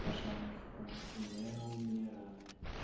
пожалуйста не умирай